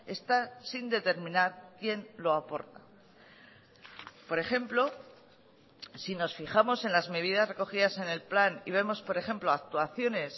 está sin determinar quién lo aporta por ejemplo si nos fijamos en las medidas recogidas en el plan y vemos por ejemplo actuaciones